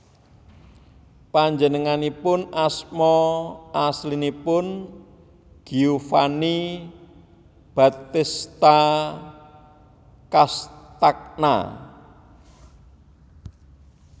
Panjenenganipun asma aslinipun Giovanni Battista Castagna